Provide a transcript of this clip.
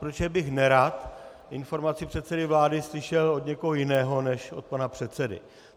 Protože bych nerad informaci předsedy vlády slyšel od někoho jiného než od pana předsedy.